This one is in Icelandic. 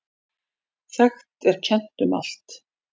Þekkt er kennt um allt.